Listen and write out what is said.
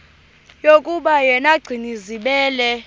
yokuba yena gcinizibele